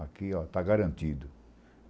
Aqui, ó, está garantido.